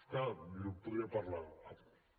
és clar jo podria parlar